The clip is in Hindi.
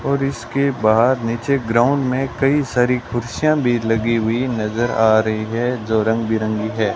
और इसके बाहर नीचे ग्राउंड में कई सारी कुर्सियां भी लगी हुई नजर आ रही है जो रंग बिरंगी है।